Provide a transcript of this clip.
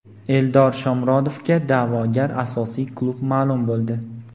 Eldor Shomurodovga da’vogar asosiy klub ma’lum bo‘ldi.